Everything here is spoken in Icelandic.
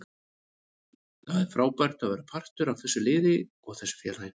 Það er frábært að vera partur af þessu liði og þessu félagi.